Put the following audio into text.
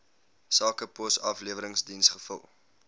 sakepos afleweringsdiens vul